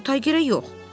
amma taygerə yox.